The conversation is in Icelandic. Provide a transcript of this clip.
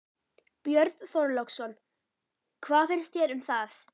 Björn Þorláksson: Hvað finnst þér um það?